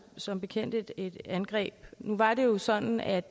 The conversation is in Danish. som bekendt et angreb nu var det jo sådan at